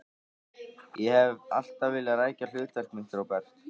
Ég hef alltaf vilja rækja hlutverk mitt, Róbert.